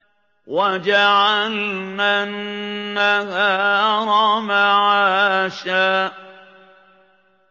وَجَعَلْنَا النَّهَارَ مَعَاشًا